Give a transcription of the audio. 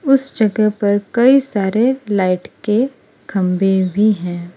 उस जगह पर कई सारे लाइट के खंभे भी हैं।